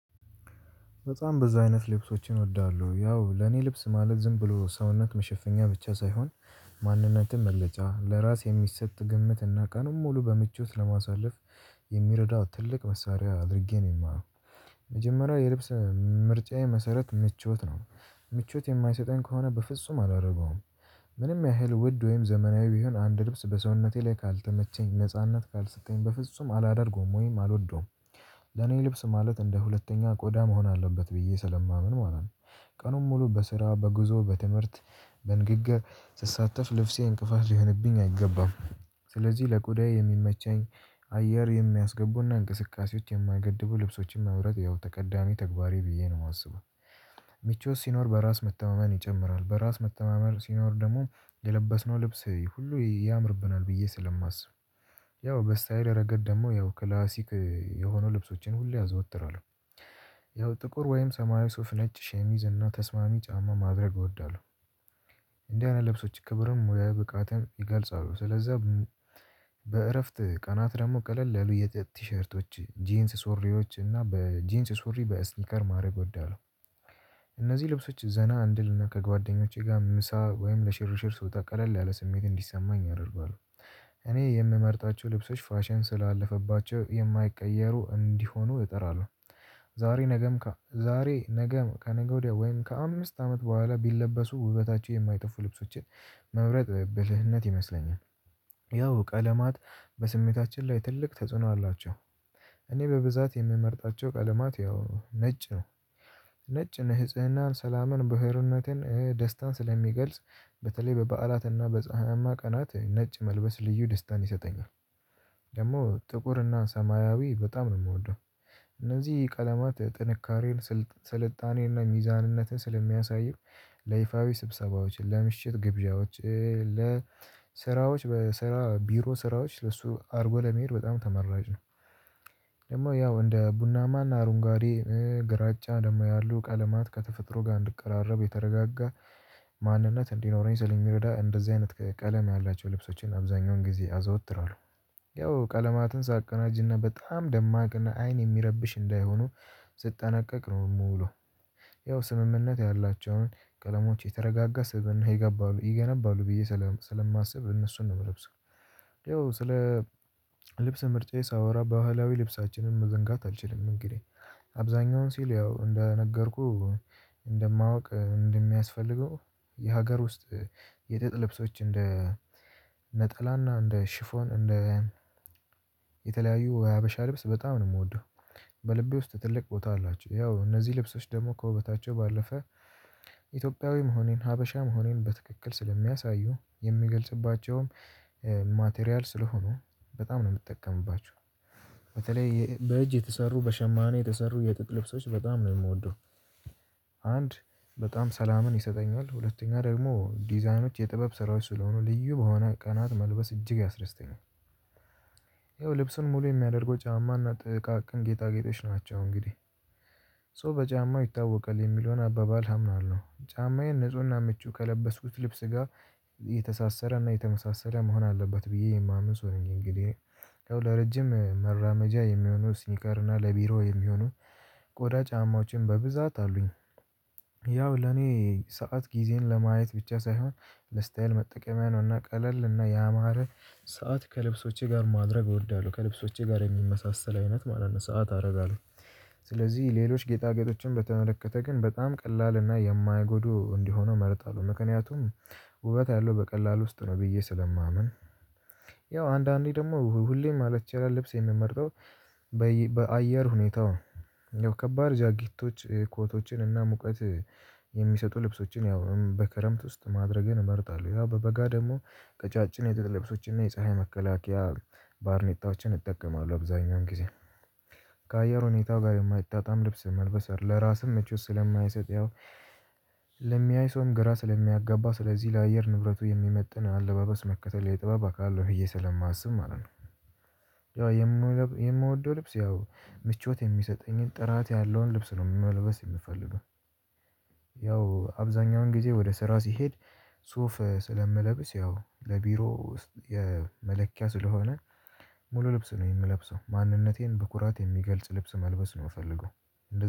በጣም በዙ አይነት ልብሶችን እወዳለሁ ያው ለኔ ልብስ ማለት ዝም ብሎ ሰውነት መሸፈኛ ብቻ ሳይሆን ማንነትም መግለጫ ለራስ የሚሰጥ ግምት እና ቀኑን ሙሉ በምቾት ለማሳለፍ የሚረዳው ትልቅ መሳሪያ አድርጌ ነው የማየው። መጀመሪያ የልብስ ምርጫዬ መሰረት ምቾት ነው ምቾት የማይሰጠኝ ከሆነ በፍጹም አላረገውም። ምንም ያህል ውድ ወይም ዘመናዊ ቢሆን አንድ ልብስ በሰውነቴ ላይ ካልተመቸኝ ነጻነት ካልሰጠኝ በፍጹም አላደርገውም ወይም አልወደውም። ለኔ ልብስ ማለት እንደ ሁለተኛ ቆዳ መሆን አለበት ብዬ ስለማምን ማለት ነው። ቀኑን ሙሉ በስራ በጉዞ በትምህርት በንግግር ስሳተፍ ልብሴ እንቅፋት ሊሆንብኝ አይገባም። ስለዚህ ለቆዳዬ የሚመቸኝ አየር የሚያስገቡና እንቅስቃሴዎች የማገድቡ ልብሶችን መምረጥ ያው ተቀዳሚ ተግባሬ ብዬ ነው የማስበው። ምቾት ሲኖር በራስ መተማመን ይጨምራል በራስ መተማመን ሲኖር ደግሞ የለበስነው ልብስ ሁሉ ያምርብናል ብዬ ስለማስብ። ያው በስታይል ረገድ ደግሞ ያው ክላሲክ የሆኑ ልብሶችን ሁሌ አዘወትራለሁ። ያው ጥቁር ወይም ሰማያዊ ሱፍ ነጭ ሸሚዝ እና ተስማሚ ጫማ ማድረግ እወዳለሁ። እንደዚህ አይነት ልብሶች ክብርም ሙያ ብቃትም ይገልጻሉ ስለዛ። በእረፍት ቀናት ደግሞ ቀለል ለሉ የጥጥ ቲሸርቶች ጄንስ ሱሪዎች እና በጅንስ ሱሪ በእስኒከር ማድረግ እወዳለው። እነዚህ ልብሶች ዘና አንድልና ከጓደኞቼ ጋር ምሳ ወይም ለሽርሽር ስወጣ ቀለል ያለ ስሜት እንዲሰማኝ ያደርጋሉ። እኔ የምመርጣቸው ልብሶች ፋሽን ስላለፈባቸው የማይቀየሩ እንዲሆኑ እጥራለሁ። ዛሬ ነገም ዛሬ ነገም ከነገ ወዲያ ወይም ከአምስት አመት በኋላ ቢለበሱ ውበታቸው የማይጠፉ ልብሶችን መምረጥ ብልህነት ይመስለኛል። ያው ቀለማት በስሜታችን ላይ ትልቅ ተጽዕኖ አላቸው። እኔ በብዛት የምመርጣቸው ቀለማት ያው ነጭ ነው። ነጭን ንህጽህናን ሰላምን ብህርነትን ደስታን ስለሚገልጽ በተለይ በበዓላትና በፀሀማ ቀናት ነጭ መልበስ ልዩ ደስታን ይሰጠኛል። ደግሞ ጥቁርና ሰማያዊ በጣም ነው ምወደው። እነዚህ ቀለማት ጥንካሬን ስልጣኔንና ሚዛንነትን ስለሚያሳዩ ለይፋዊ ስብሰባዎችን ለምሽት ግብዣዎች ለስራዎች በስራ ቢሮ ስራዎች ለሱ አድርጎ ለመሄድ በጣም ተመራጭ ነው። ደግሞ ያው እንደ ቡናማና አሩንጓዴ ግራጫ ደግሞ ያሉ ቀለማት ከተፈጥሮ ጋር እንድቀራረብ የተረጋጋ ማንነት እንዲኖረኝ ስለሚረዳ እንደዚህ አይነት ቀለም ያላቸው ልብሶችን አብዛኛውን ጊዜ አዘወትራለሁ። ያው ቀለማትን ሳቀናጅና በጣም ደማቅና አይን የሚረብሽ እንዳይሆኑ ስጠነቀቅ ነው የምውለው። ያው ስምምነት ያላቸውን ቀለሞች የተረጋጋ ስብእና ይገባሉ ይገነባሉ ብዬ ስለማስብ እነሱን ነው ምለብሰው። ያው ስለ ልብስ ምርጫዬ ሳወራ ባህላዊ ልብሳችንን መዘንጋት አልችልም። እንግዲህ አብዛኛውን ሲል ያው እንደነገርኩህ እንደማውቅ እንደሚያስፈልገው የሀገር ውስጥ የጥጥ ልብሶች እንደ ነጠላና እንደ ሽፎን እንደ የተለያዩ ወይ ሀበሻ ልብስ በጣም ነው ምወደው። በልቤ ውስጥ ትልቅ ቦታ አላቸው ያው እነዚህ ልብሶች ደግሞ ከውበታቸው ባለፈ ኢትዮጵያዊ መሆኔን ሀበሻ መሆኔን በትክክል ስለሚያሳዩ የምገልጽባቸውም ማቴሪያል ስለሆኑ በጣም ነው የምጠቀምባቸው። በተለይ በእጅ የተሰሩ በሸማኔ የተሰሩ የጥጥ ልብሶች በጣም ነው የምወደው። አንድ በጣም ሰላምን ይሰጠኛል ሁለተኛ ደግሞ ዲዛይኖች የጥበብ ስራዎች ስለሆኑ ልዩ በሆነ ቀናት መልበስ እጅግ ያስደስተኛል። ይኸው ልብስን ሙሉ የሚያደርገው ጫማና ጥቃቅን ጌጣጌጦች ናቸው እንግዲህ። ሶ በጫማ ይታወቃል የሚለውን አባባል አምናለው። ጫማዬን ንፁህና ምቹ ከለበስኩት ልብስ ጋር የተሳሰረና የተመሳሰለ መሆን አለበት ብዬ የማምን ሰው ነኝ። እንግዲህ ያው ለረጅም መራመጃ የሚሆነው ሲኒከርና ለቢሮ የሚሆኑ ቆዳ ጫማዎችን በብዛት አሉኝ። ያው ለኔ ሰዓት ጊዜን ለማየት ብቻ ሳይሆን ለስታይል መጠቀሚያ ነው እና ቀለል እና ያማረ ሰዓት ከልብሶቼ ጋር ማድረግ እወዳለሁ ከልብሶቼ ጋር የሚመሳሰል አይነት ማለት ነው ሰዓት አረጋለሁ። ስለዚህ ሌሎች ጌጣጌጦችን በተመለከተ ግን በጣም ቀላል እና የማይጎዱ እንዲሆኑ እመርጣለሁ ምክንያቱም ውበት ያለው በቀላሉ ውስጥ ነው ብዬ ስለማምን። ያው አንዳንዴ ደግሞ ሁሌም ማለት ይቻላል ልብስ የምመርጠው። በአየር ሁኔታው ያው ከባድ ጃኬቶች ኮቶችን እና ሙቀት የሚሰጡ ልብሶችን ያው በከረምት ውስጥ ማድረግን እመርጣለሁ ያ በበጋ ደግሞ ቀጫጭን የጥጥ ልብሶችን እና የፀሀይ መከላከያ ባርኔጣዎችን እጠቀማለሁ አብዛኛውን ጊዜ። ከአየር ሁኔታ ጋር የማይጣጣም ልብስ መልበስ አይደለም ለራስም ምቾት ስለማይሰጥ ያው። ለሚያይ ሰውን ግራ ስለሚያጋባ ስለዚህ ለአየር ንብረቱ የሚመጥን አለባበስ መከተል የጥበብ አካል ነው ብየ ስለማስብ ማለት ነው። የምወደው ልብስ ያው ምቾት የሚሰጠኝን ጥራት ያለውን ልብስ ነው መልበስ የምፈልገው። ያው አብዛኛውን ጊዜ ወደ ስራ ሲሄድ ሱፍ ስለምለብስ ያው ለቢሮ ውስጥ የመለኪያ ስለሆነ ሙሉ ልብስ ነው የምለብሰው ማንነቴን በኩራት የሚገልጽ ልብስ መልበስ ነው ምፈልገው።